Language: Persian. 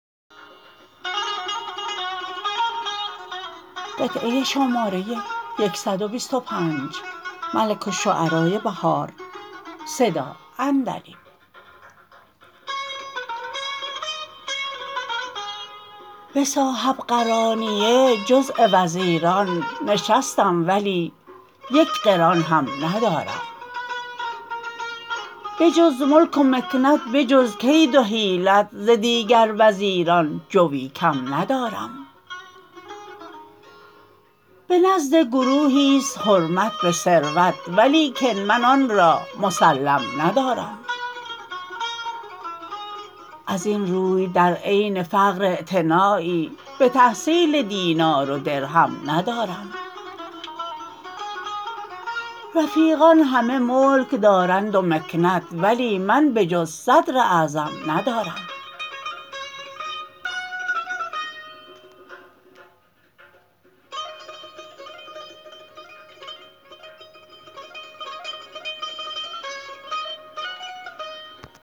به صاحبقرانیه جزء وزیران نشستم ولی یک قران هم ندارم بجز ملک و مکنت به جز کید و حیلت ز دیگر وزیران جوی کم ندارم به نزد گروهی است حرمت به ثروت ولیکن من آن را مسلم ندارم از این روی در عین فقر اعتنایی به تحصیل دینار و درهم ندارم رفیقان همه ملک دارند و مکنت ولی من به جز صدراعظم ندارم